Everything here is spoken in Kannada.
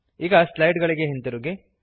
ಈಗ ಸ್ಲೈಡ್ ಗಳಿಗೆ ಹಿಂದಿರುಗಿರಿ